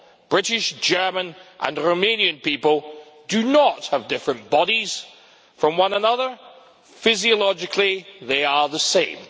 British, German and Romanian people do not have different bodies from one another physiologically they are the same.